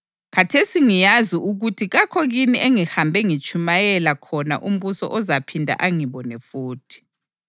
Khathesi ngiyazi ukuthi kakho kini engihambe ngitshumayela khona umbuso ozaphinda angibone futhi.